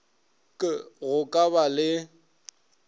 k go ka ba le